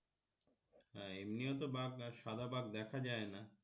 হ্যাঁ এমনিও তো বাঘ সাদা বাঘ দেখা যায়না